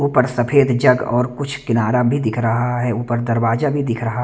ऊपर सफेद जग और कुछ किनारा भी दिख रहा है ऊपर दरवाजा भी दिख रहा --